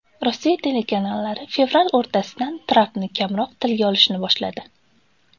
Rossiya telekanallari fevral o‘rtasidan Trampni kamroq tilga olishni boshladi.